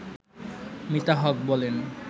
মিতা হক বলেন